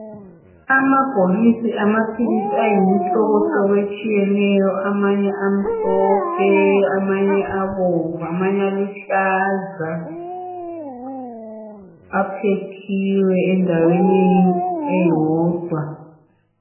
Amabhokisi amaphilisi ayimihlobo etshiyeneyo amanye amhlophe, amanye abomvu amanye aluhlaza apakitshiwe endaweni eyodwa.